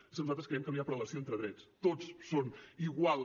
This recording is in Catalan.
és que nosaltres creiem que no hi ha prelació entre drets tots són iguals